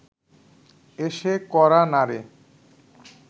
এসে কড়া নাড়ে